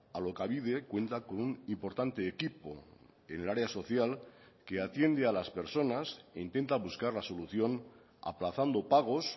alokabide cuenta con un importante equipo en el área social que atiende a las personas e intenta buscar la solución aplazando pagos